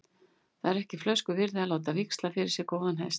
Það er ekki flösku virði að láta víxla fyrir sér góðan hest.